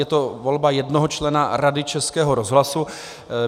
Je to volba jednoho člena Rady Českého rozhlasu.